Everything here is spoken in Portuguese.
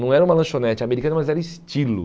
Não era uma lanchonete americana, mas era estilo.